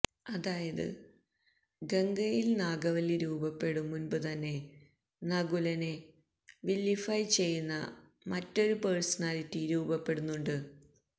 അതായത് ഗംഗയിൽ നാഗവല്ലി രൂപപ്പെടും മുൻപ് തന്നെ നകുലനെ വില്ലിഫൈ ചെയ്യുന്ന മറ്റൊരു പേഴ്സണാലിറ്റി രൂപപ്പെടുന്നുണ്ട്